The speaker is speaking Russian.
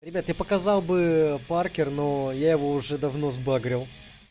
ребят я показал бы паркер но я его уже давно сбагрил